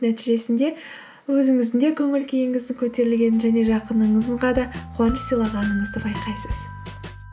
нәтижесінде өзіңіздің де көңіл күйіңіздің көтерілгенін және жақыныңызға да қуаныш сыйлағаныңызды байқайсыз